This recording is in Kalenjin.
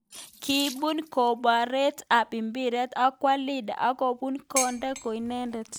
Kibun komboret ap mpiret akwo Leander ak komuch konde ko inendet.